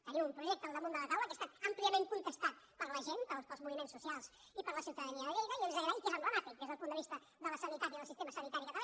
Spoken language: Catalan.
tenim un projecte al damunt de la taula que ha estat àmpliament contestat per la gent pels moviments socials i per la ciutadania de lleida que és d’agrair i que és emblemàtic des del punt de vista de la sanitat i del sistema sanitari català